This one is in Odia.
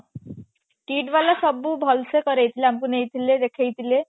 KIIT ବାଲା ସବୁ ଭଲସେ କରେଇ ଥିଲେ ଆମକୁ ନେଇଥିଲେ ଦେଖେଇ ଥିଲେ